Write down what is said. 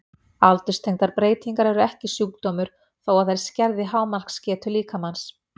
Aldurstengdar breytingar eru ekki sjúkdómur þó að þær skerði hámarksgetu líkamans.